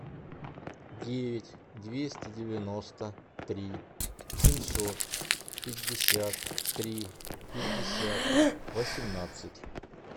девять двести девяносто три семьсот пятьдесят три пятьдесят восемнадцать